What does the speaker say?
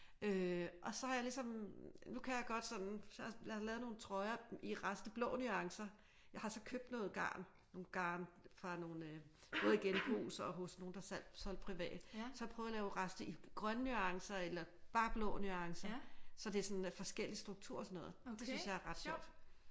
Øh og så har jeg ligesom nu kan jeg godt sådan jeg har lavet nogle trøjer i rest af blå nuancer jeg har så købt noget garn nogle garn fra nogle både i genbrug og hos nogle der solgt privat så har jeg prøvet at lave rester i grønne nuancer eller bare blå nuancer så det sådan er forskellig struktur og sådan noget det synes jeg er ret sjovt